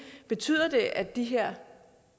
betyder at de her